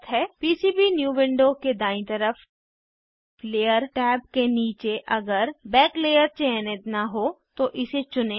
PCB new window के दायीं तरफ लेयर टैब के नीचे अगर बैक लेयर चयनित न हो तो इसे चुनें